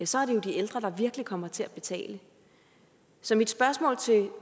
så er det jo de ældre der virkelig kommer til at betale så mit spørgsmål til